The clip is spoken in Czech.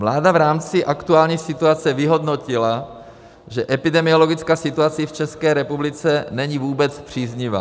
Vláda v rámci aktuální situace vyhodnotila, že epidemiologická situace v České republice není vůbec příznivá.